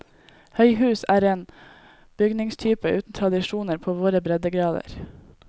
Høyhus er en bygningstype uten tradisjoner på våre breddegrader.